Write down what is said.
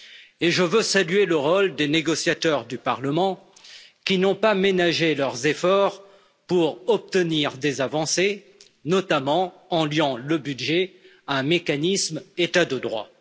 Et je veux saluer le rôle des négociateurs du Parlement, qui n'ont pas ménagé leurs efforts pour obtenir des avancées, notamment en liant le budget à un mécanisme état de droit.